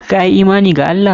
Ka yi imani da Allah?